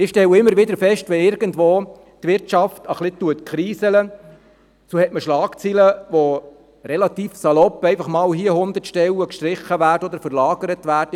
Wenn die Wirtschaft irgendwo ein wenig kriselt, gibt es Schlagzeilen, denen man entnehmen kann, dass mal irgendwo recht nonchalant hundert Stellen gestrichen oder verlagert werden.